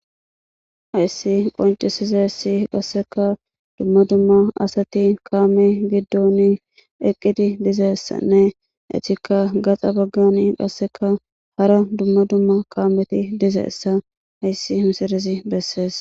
Ayssi qoncisizessi qasseka dumma dumma asati kaame giddon eqqidi dizeessanne etikka gaxa baggani qasseka hara dumma dumma kaameti dizeessa ayssi hinsirizi bessees.